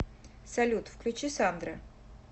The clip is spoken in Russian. салют включи сандра